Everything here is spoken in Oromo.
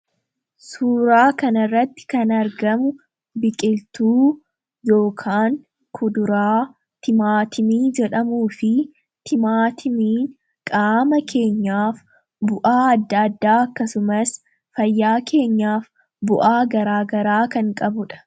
suura kana irratti kan argamu biqiltuu yookin kuduraa timaatimii jedhamuu fi timaatimiin qaama keenyaaf bu'aa adda addaa akkasumas fayyaa keenyaaf bu'aa garaagaraa kan qabudha.